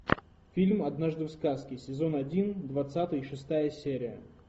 фильм однажды в сказке сезон один двадцатая и шестая серия